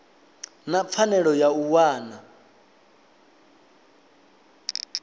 na pfanelo ya u wana